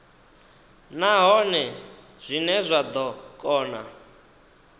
nahone zwine zwa ḓo kona